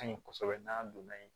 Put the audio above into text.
Ka ɲi kosɛbɛ n'a donna yen